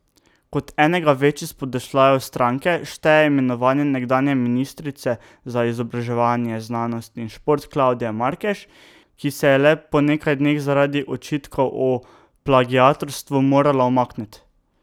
Kot enega večjih spodrsljajev stranke šteje imenovanje nekdanje ministrice za izobraževanje, znanost in šport Klavdije Markež, ki se je le po nekaj dneh zaradi očitkov o plagiatorstvu morala umakniti.